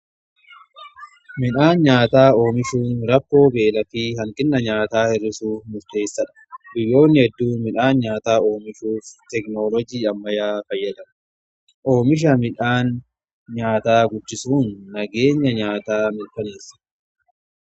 midhaan nyaataa oomishuun rakkoo beelaa hanqina nyaataa hir'isuuf murteessaadha. biyyoonni hedduu midhaan nyaataa oomishuuf teeknoolojii ammayyaa fayyadamu. oomisha midhaan nyaataa guddisuun nageenya nyaataa mirkaneessa.